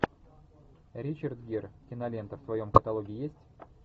ричард гир кинолента в твоем каталоге есть